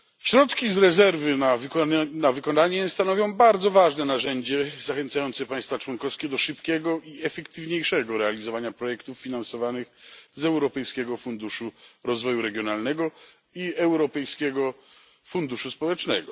Środki z rezerwy na wykonanie stanowią bardzo ważne narzędzie zachęcające państwa członkowskie do szybkiego i efektywniejszego realizowania projektów finansowanych z Europejskiego Funduszu Rozwoju Regionalnego i Europejskiego Funduszu Społecznego.